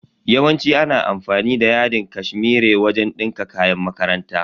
Yawanci ana amfani da yadin cashmere wajen dinka kayan makaranta.